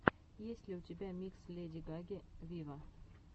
есть ли у тебя микс леди гаги виво